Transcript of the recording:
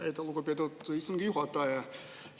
Aitäh, lugupeetud istungi juhataja!